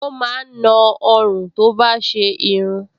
Ó máa ń na ọrùn tó bá ti ṣe irun